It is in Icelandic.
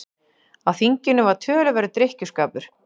Á þinginu var töluverður drykkjuskapur.